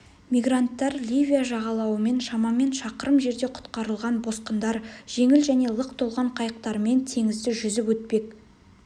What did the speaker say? мигранттар ливия жағалауынан шамамен шақырым жерде құтқарылған босқындар жеңіл және лық толған қайықтармен теңізді жүзіп өтпек